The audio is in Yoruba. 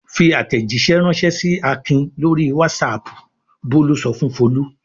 "Fi àtẹ̀jíṣẹ́ ránṣẹ́ sí Akin lórí WhatsApp!" Bólú sọ fún Folú.